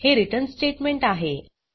हे return statement आहे